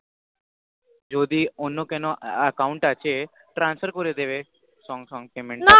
যদি অন্য কোন Account আছে transfer করে দিবে সঙ্গে সঙ্গে payment তা না